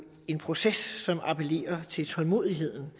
en proces som appellerer til tålmodigheden